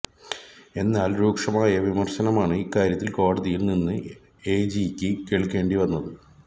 എന്നാൽ രൂക്ഷമായ വിമർശനമാണ് ഇക്കാര്യത്തിൽ കോടതിയിൽ നിന്ന് എജിയ്ക്ക് കേൾക്കേണ്ടി വന്നത്